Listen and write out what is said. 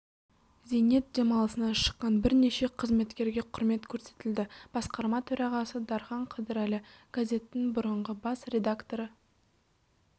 зейнет демалысына шыққан бірнеше қызметкерге құрмет көрсетілді басқарма төрағасы дархан қыдырәлі газеттің бұрынғы бас редакторы